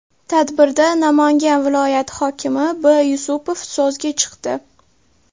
Tadbirda Namangan viloyati hokimi B. Yusupov so‘zga chiqdi.